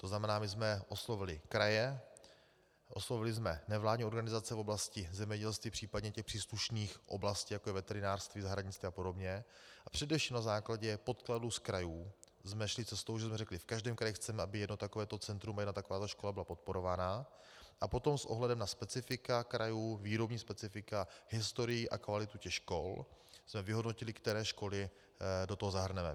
To znamená, my jsme oslovili kraje, oslovili jsme nevládní organizace v oblasti zemědělství, případně těch příslušných oblastí, jako je veterinářství, zahradnictví a podobně, a především na základě podkladů z krajů jsme šli cestou, že jsme řekli, že v každém kraji chceme, aby jedno takovéto centrum a jedna takováto škola byla podporovaná, a potom s ohledem na specifika krajů, výrobní specifika, historii a kvalitu těch škol jsme vyhodnotili, které školy do toho zahrneme.